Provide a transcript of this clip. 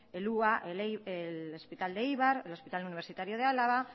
el el hospital de eibar el hospital universitario de álava